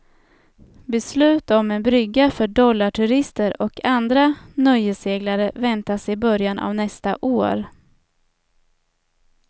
Beslut om en brygga för dollarturister och andra nöjesseglare väntas i början av nästa år.